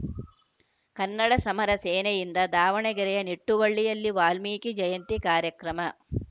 ಕನ್ನಡ ಸಮರ ಸೇನೆಯಿಂದ ದಾವಣಗರೆಯ ನಿಟ್ಟುವಳ್ಳಿಯಲ್ಲಿ ವಾಲ್ಮೀಕಿ ಜಯಂತಿ ಕಾರ್ಯಕ್ರಮ